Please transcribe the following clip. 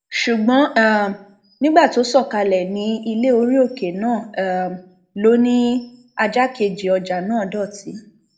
ṣùgbọn um nígbà tó sọ kalẹ ní ilẹ orí òkè náà um ló ní ajá kejì ọjà náà dọtí